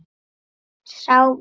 Sá var